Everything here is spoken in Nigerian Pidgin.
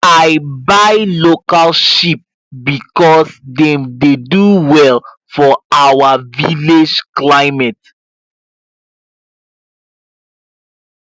i buy local sheep because dem dey do well for our village climate